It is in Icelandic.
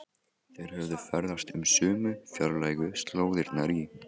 Þeir höfðu ferðast um sömu fjarlægu slóðirnar í